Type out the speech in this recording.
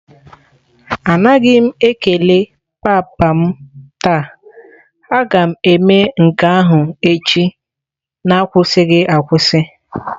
Anaghị m ekele papa m taa, a ga m eme nke ahụ echi n'akwụsịghị akwụsị.